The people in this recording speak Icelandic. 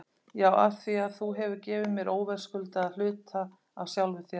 Já, afþvíað þú hefur gefið mér óverðskuldaðri hluta af sjálfum þér.